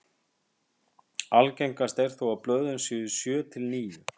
Algengast er þó að blöðin séu sjö til níu.